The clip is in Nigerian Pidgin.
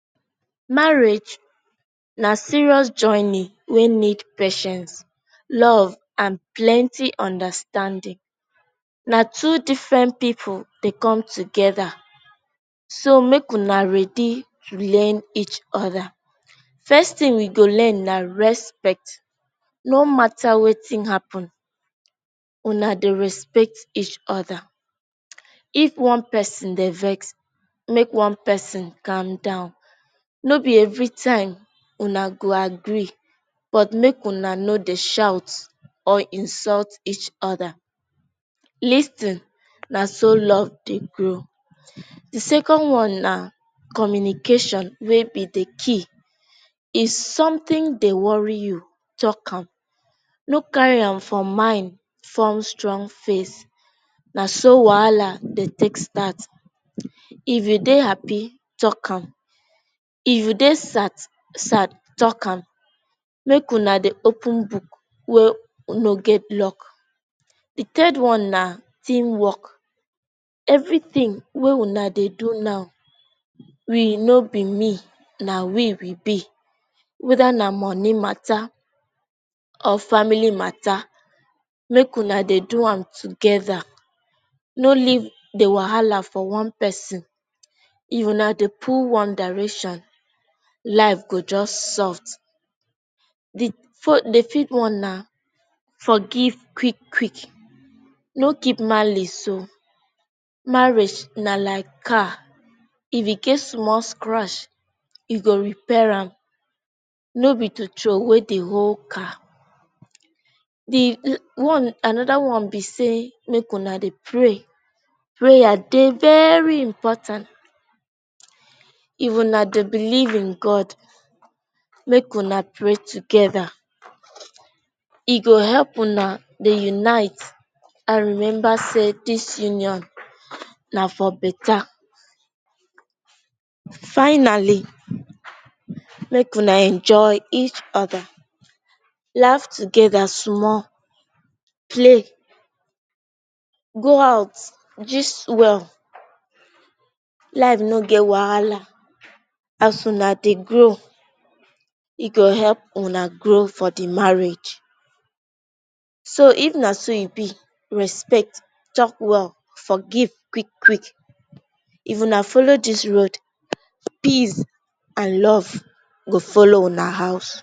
Marriage na serious jawney wey need Pai ten ce, love and plenty understanding. Na two different people dey come together, so make Una ready to learn each other. First thing we go learn na respect. No matter Wetin happen Una go respect each other. if one person Dey vex make l, one person calm down. No be every time una go agree, but make una no Dey shout or insult each other. Lis ten, na so love Dey grow. The second one na communication wey be the key. If something Dey worry you, talk am. No carry am for mind form strong face. na so wahala dey take start. If you Dey happy, talk am. If you Dey sat sad talk am. Make Una Dey open book wey no get lock. The third one na team work. Everything wey Una Dey do now we no be me, na we we be. Weda na money mata or family mata, make Una Dey do am together. No leave the wahala for one person. If Una Dey pull one direction life go just soft. The for the fifth one na forgive quick quick. No keep malice ooo. marriage na like car, if e get small scratch you go repay am no be to throwway the whole car. The one another one be say make Una Dey pray. Prayer Dey veryyy important. If Una Dey believe in God make Una pray together. E go help una Dey unite and Rebecca say this union nadir beta. F-Finally make Una enjoy each other. Laugh together small, play go out, gist well Life no get wahala. As Una Dey grow e go help Una grow for the marriage. So if na so e be respect, talk well, forgive quick quick, if Una follow this road, peace and love go follow Una house